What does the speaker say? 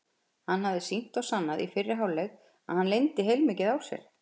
Hann hafði sýnt og sannað í fyrri hálfleik að hann leyndi heilmikið á sér.